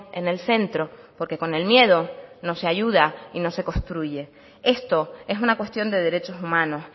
en el centro porque con el miedo no se ayuda y no se construye esto es una cuestión de derechos humanos